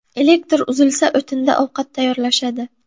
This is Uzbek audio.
Elektr uzilsa, o‘tinda ovqat tayyorlashadi”.